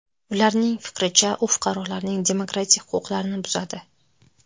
Ularning fikricha, u fuqarolarning demokratik huquqlarini buzadi.